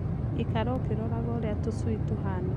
Ikara ũkĩroraga ũrĩa tũcui tũhana